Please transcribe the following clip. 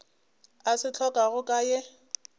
a se hlokago ka ye